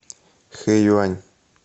хэюань